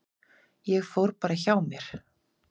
Ég fór bara hjá mér.